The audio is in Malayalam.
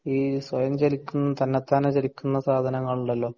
ഈ സ്വയം ചലിക്കുന്ന തന്നത്താനെ ചലിക്കുന്ന സാധനങ്ങൾ ഉണ്ടല്ലോ